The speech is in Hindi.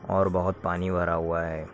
और बहोत पानी भरा हुआ है ।